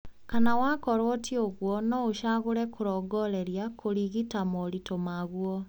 Kana wakorwo ti ũguo, noũcagũre kũrongoreria kũrigita moritũ maguo